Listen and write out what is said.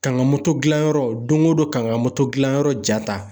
Ka n ka motodilanyɔrɔ don o don kan ka motodilanyɔrɔ ja ta